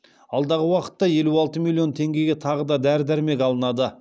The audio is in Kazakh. алдағы уақытта елу алты миллион теңгеге тағы да дәрі дәрмек алынады